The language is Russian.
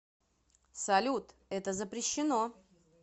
салют это запрещено